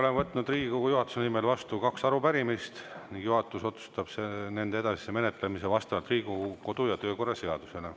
Olen võtnud Riigikogu juhatuse nimel vastu kaks arupärimist ning juhatus otsustab nende edasise menetlemise vastavalt Riigikogu kodu‑ ja töökorra seadusele.